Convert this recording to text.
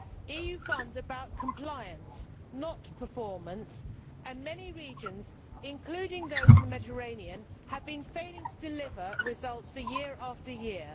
EU funds are about compliance, not performance, and many regions, including those in the Mediterranean, have been failing to deliver results year after year.